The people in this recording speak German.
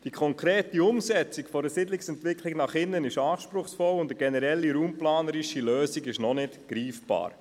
Die konkrete Umsetzung der Siedlungsentwicklung nach innen ist anspruchsvoll, und eine generelle raumplanerische Lösung ist noch nicht greifbar.